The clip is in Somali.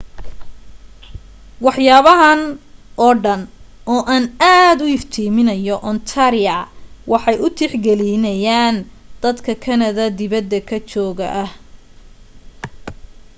waxyaabahan oo dhan oo aan aad u iftimineyno ontaria waxay u tixgeliyaan dad kanada dibad joog ka ah